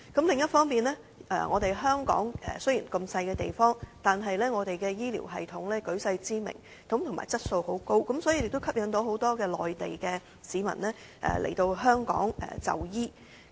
另一方面，香港雖然地方小，但是我們的醫療系統舉世知名，質素也相當高，所以吸引了很多內地市民來香港就醫。